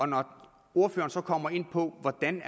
når ordføreren så kommer ind på hvordan